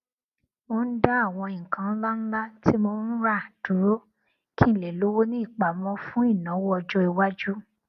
mò ń dá àwọn nǹkan ńláńlá tí mò ń rà dúró kí n lè lówó ní ìpámọ fún ìnáwọ ọjọiwájú